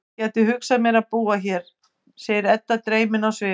Ég gæti hugsað mér að búa hér, segir Edda dreymin á svip.